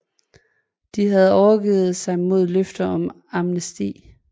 De havde overgivet sig mod løfter om amnesti